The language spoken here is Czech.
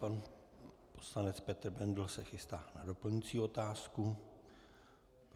Pan poslanec Petr Bendl se chystá na doplňující otázku.